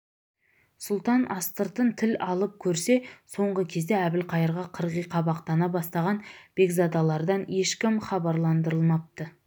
сұлтан астыртын тіл алып көрсе соңғы кезде әбілқайырға қырғи қабақтана бастаған бекзадалардан ешкім хабарландырылмапты